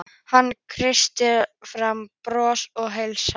Hann kreistir fram bros og heilsar.